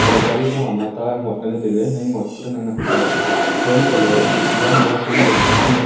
chatley gari ku hama tah ngot nganley tailey hai ngot pura naknak ky colour phaima chatley yan vala cylinder chukchuk ku nganley.